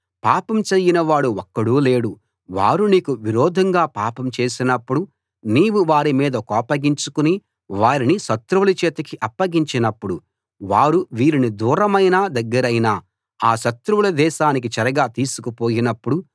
పాపం చేయనివాడు ఒక్కడూ లేడు వారు నీకు విరోధంగా పాపం చేసినపుడు నీవు వారి మీద కోపగించుకుని వారిని శత్రువుల చేతికి అప్పగించినప్పుడు వారు వీరిని దూరమైనా దగ్గరైనా ఆ శత్రువుల దేశానికి చెరగా తీసుకుపోయినప్పుడు